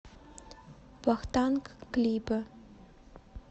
вахтанг клипы